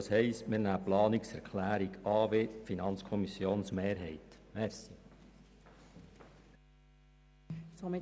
Das heisst, wir nehmen wie die FiKo-Mehrheit die Planungserklärung 7 an.